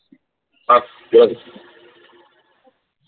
ह बोल